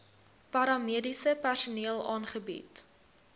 paramediese personeel aangebied